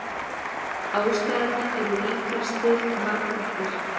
Ástæðurnar eru líkast til margþættar.